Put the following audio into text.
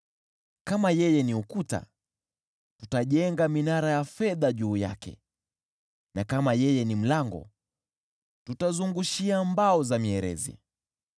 Kama yeye ni ukuta, tutajenga minara ya fedha juu yake. Na kama yeye ni mlango, tutamzungushia mbao za mierezi.